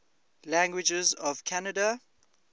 languages of canada